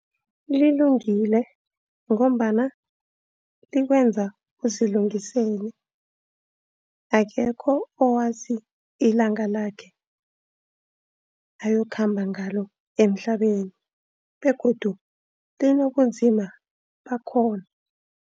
Lilungile ngombana likwenza uzilungisele. Akekho owazi ilanga lakhe ayokukhamba ngalo emhlabeni begodu linobunzima bakhona.